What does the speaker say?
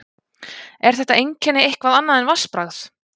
Er þetta einkenni eitthvað annað en vatnsbragð?